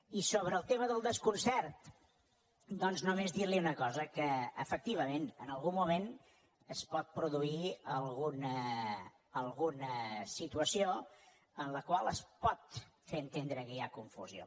i sobre el tema del desconcert doncs només dir li una cosa que efectivament en algun moment es pot produir alguna situació en la qual es pot fer entendre que hi ha confusió